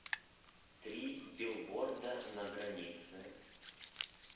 три билборда на границе